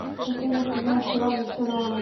последний сезон сериал зачарованные